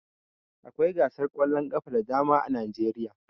Akwai gasar ƙwallon ƙafa da dama a Najeriya